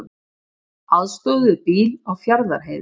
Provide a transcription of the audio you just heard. Aðstoðuðu bíl á Fjarðarheiði